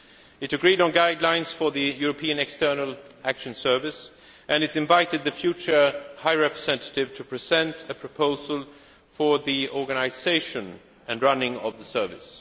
It agreed on guidelines for the European External Action Service and it invited the future High Representative to present a proposal for the organisation and running of the Service.